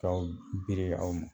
Ka o biri aw ma